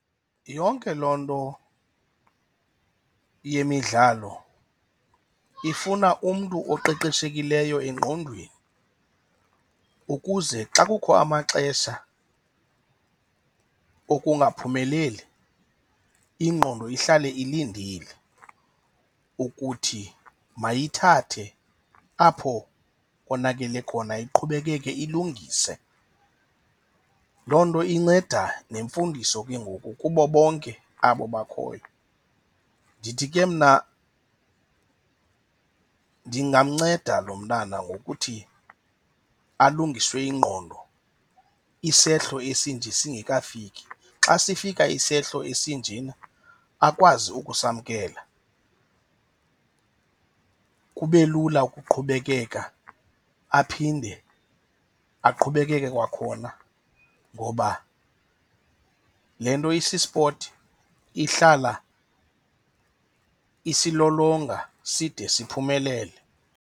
Yonke loo nto yemidlalo ifuna umntu oqeqeshekileyo engqondweni ukuze xa kukho amaxesha okungaphumeleli, ingqondo ihlale ilindile ukuthi mayithathe apho konakele khona iqhubekeke ilungise. Loo nto inceda neemfundiso ke ngoku kubo bonke abo bakhoyo. Ndithi ke mna ndingamnceda lo mntana ngokuthi alungiswe ingqondo isehlo esinje singekafiki. Xa sifika isehlo esinjena akwazi ukusa amkela, kube lula ukuqhubekeka aphinde aqhubekeke kwakhona ngoba le nto isi-sport ihlala isilolonga side siphumelele.